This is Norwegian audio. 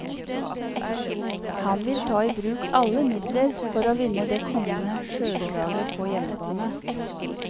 Han vil ta i bruk alle midler for å vinne det kommende sjøslaget på hjemmebane.